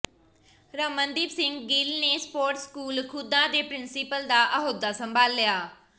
ਰਮਨਦੀਪ ਸਿੰਘ ਗਿੱਲ ਨੇ sports school Ghudda ਦੇ principal ਦਾ ਅਹੁਦਾ ਸੰਭਾਲਿਆ